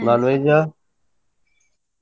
Non-veg ?